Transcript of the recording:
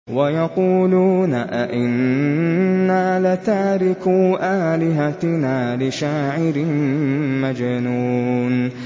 وَيَقُولُونَ أَئِنَّا لَتَارِكُو آلِهَتِنَا لِشَاعِرٍ مَّجْنُونٍ